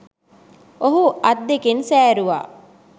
ඔහු අත් දෙකෙන් සෑරුවා